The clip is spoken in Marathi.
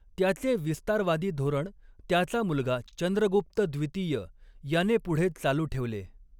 त्याचे विस्तारवादी धोरण त्याचा मुलगा चंद्रगुप्त द्वितीय याने पुढे चालू ठेवले.